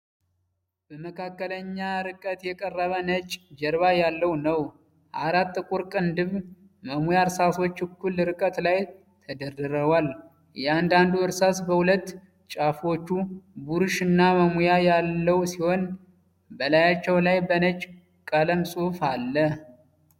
በመካከለኛ ርቀት የቀረበ ነጭ ጀርባ ያለው ነው። አራት ጥቁር ቅንድብ መሙያ እርሳሶች እኩል ርቀት ላይ ተደርድረዋል። እያንዳንዱ እርሳስ በሁለት ጫፎቹ ብሩሽ እና መሙያ ያለው ሲሆን፣ በላያቸው ላይ በነጭ ቀለም ጽሑፍ አለ።